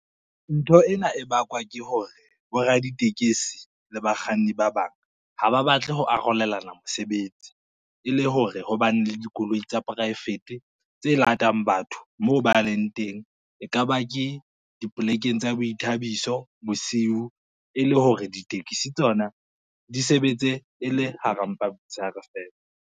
Ntho ena e bakwa ke hore, boraditekesi le bakganni ba bang, ha ba batle ho arolelana mosebetsi, e le hore ho bane le dikoloi tsa poraefete tse latelang batho moo ba leng teng, e ka ba ke dipolekeng tsa boithabiso bosiu, e le hore ditekisi tsona di sebetse e le hara mpa motsheare fela.